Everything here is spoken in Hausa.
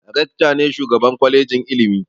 Rekta ne shugaban kwalejin ilimi